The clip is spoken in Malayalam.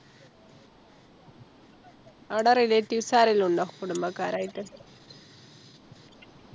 ആട Relatives ആരേലും ഉണ്ടോ കുടുംബക്കാരായിട്ട്